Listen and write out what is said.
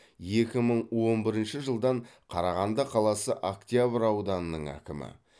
екі мың он бірінші жылдан қарағанды қаласы октябрь ауданының әкімі